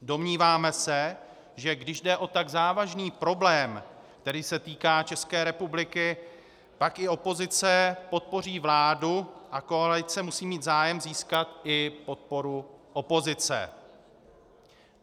Domníváme se, že když jde o tak závažný problém, který se týká České republiky, pak i opozice podpoří vládu a koalice musí mít zájem získat i podporu opozice.